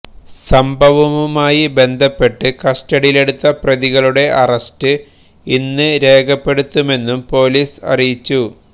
സംഭവവുമായി ബന്ധപ്പെട്ട് കസ്റ്റഡിയിലെടുത്ത പ്രതികളുടെ അറസ്റ്റ് ഇന്ന് രേഖപ്പെടുത്തുമെന്നും പൊലിസ് അറിയിച്ചു